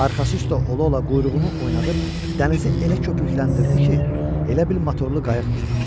Arxası üstə ola-ola quyruğunu oynadıb dənizi elə köpükləndirdi ki, elə bil motorlu qayıq gedirdi.